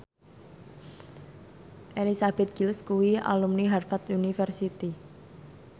Elizabeth Gillies kuwi alumni Harvard university